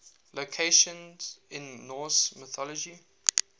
locations in norse mythology